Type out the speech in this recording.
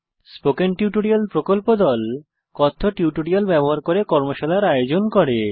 spoken tutorial প্রকল্প দল কথ্য টিউটোরিয়াল ব্যবহার করে কর্মশালার আয়োজন করে